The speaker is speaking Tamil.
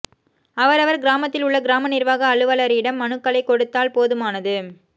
அவரவர் கிராமத்தில் உள்ள கிராம நிர்வாக அலுவலரிடம் மனுக்களை கொடுத்தால் போதுமானது